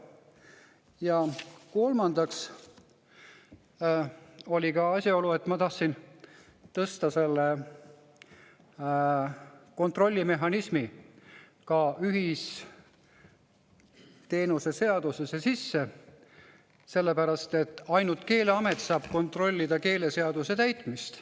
Ja kolmandaks oli asjaolu, et ma tahtsin tõsta selle kontrollimehhanismi ka ühisteenuse seadusesse sisse, sellepärast et ainult Keeleamet saab kontrollida keeleseaduse täitmist.